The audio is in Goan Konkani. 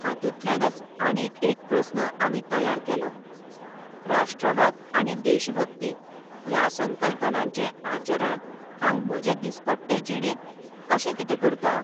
हातूंतल्यानच आनीक एक प्रस्न आमी तयार केलोः राष्ट्रवाद आनी देशभक्ती ह्या संकल्पनांचें आचरण हांव म्हजे दिसपट्टे जिणेंत कशें कितें करतां?